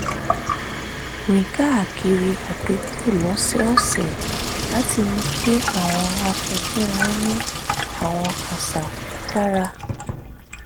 rìn káàkiri àdúgbò lọ́sọ̀ọ̀sẹ̀ láti mú kí àwọn akẹgbẹ́ wọn ní àwọn àṣà tó dára